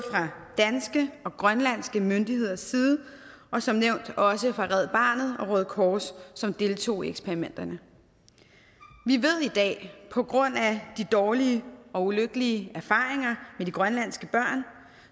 danske og grønlandske myndigheders side og som nævnt også hos red barnet og røde kors som deltog i eksperimenterne vi ved i dag på grund af de dårlige og ulykkelige erfaringer med de grønlandske børn